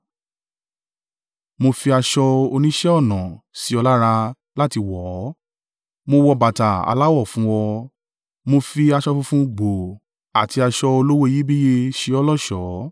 Mo fi aṣọ oníṣẹ́-ọnà sí ọ lára láti wọ̀ ọ́, mo wọ bàtà aláwọ fún ọ. Mo fi aṣọ funfun gbòò àti aṣọ olówó iyebíye ṣe ọ́ lọ́ṣọ̀ọ́.